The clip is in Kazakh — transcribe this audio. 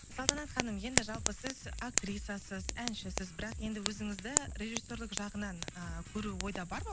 салтанат ханым енді жалпы сіз актрисасыз әншісіз бірақ енді өзіңізді режиссерлық жағынан ы көру ойда бар ма